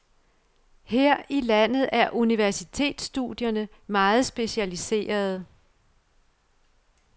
Her i landet er universitetsstudierne meget specialiserede.